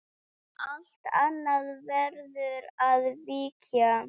Allt annað verður að víkja.